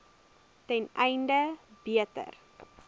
ten einde beter